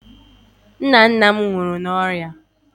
nna nna m nwụrụ n'ọrịa mkpụrụ ndụ ihe nketa